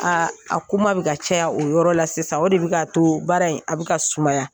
Aa a kuma bɛ ka caya o yɔrɔ la sisan o de bɛ kaa to baara in a bɛ ka .